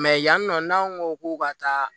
yan nɔ n'an ko k'u ka taa